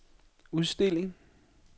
udstilling